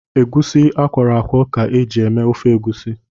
Egwusi akwọrọ akwọ ka eji eme ofe Egwusi